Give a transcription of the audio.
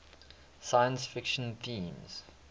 science fiction themes